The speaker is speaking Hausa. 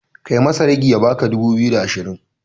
Kai masa ragi ya baka dubu biyu da ashirin